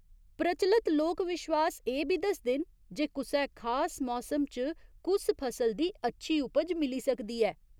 प्रचलत लोक विश्वास एह् बी दसदे न जे कुसै खास मौसम च कुस फसल दी अच्छी उपज मिली सकदी ऐ।